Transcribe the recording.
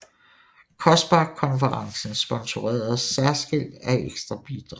COSPAR konferencer sponsoreres særskilt af ekstra bidrag